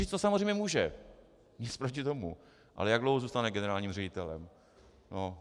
Říct to samozřejmě může, nic proti tomu, ale jak dlouho zůstane generálním ředitelem?